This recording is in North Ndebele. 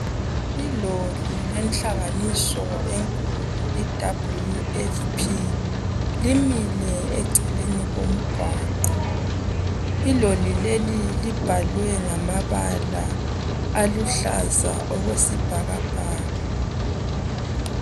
Iloli lenhlanganiso enkulu idabli yu efu phi, limile eceleni komgwaqo. Iloli leli libhalwe ngamabala aluhlaza okwesibhakabhaka.